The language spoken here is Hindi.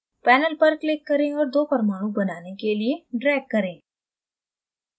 panel पर click करें और दो परमाणु बनाने के लिए drag करें